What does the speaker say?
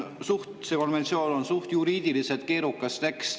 Konventsiooni tekst on juriidiliselt suht keerukas.